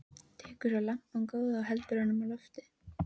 Tekur svo lampann góða og heldur honum á lofti.